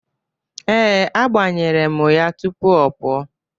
Ee, agbanyere mụ ya tupu ọ pụọ.